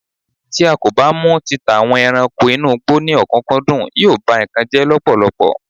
ti a ko ba mu títà àwọn ẹranko inú igbó ni okunkundun, yíò ba nkan jẹ lọpọlọpọ